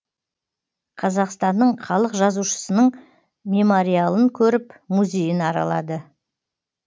қазақстанның халық жазушысының мемориалын көріп музейін аралады